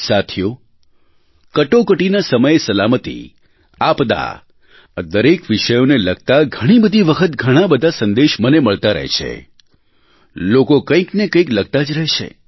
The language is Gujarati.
સાથીઓ કટોકટીના સમયે સલામતી આપદા આ દરેક વિષયોને લગતા ઘણી બધી વખત ઘણા બધા સંદેશ મને મળતા રહે છે લોકો કંઇકનેકંઇક લખતા જ રહે છે